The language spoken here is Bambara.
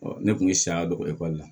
ne kun ye saya don ekɔli la